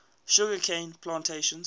sugar cane plantations